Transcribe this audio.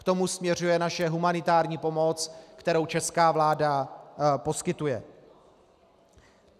K tomu směřuje naše humanitární pomoc, kterou česká vláda poskytuje.